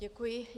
Děkuji.